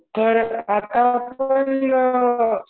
तर आता आपण